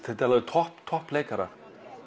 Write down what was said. þetta eru alveg topp topp leikarar